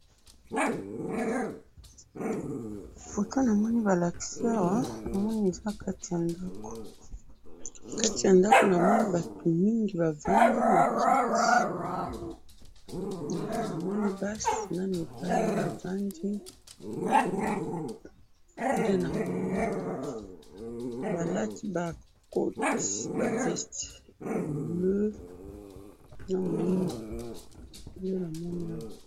Foto namoni balakisi awa, manoni eza kati ya ndako, kati ya ndako namoni batu mingi bavandi na kiti, eh! Namoni basi na mibali bavandi, nde namoni, balati ba koti, ba veste ya bleu, na mwindu, nde namoni awa.